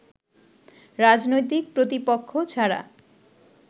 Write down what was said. রাজনৈতিক প্রতিপক্ষ ছাড়া